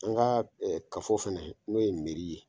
An ka kafo fana n'o ye miri ye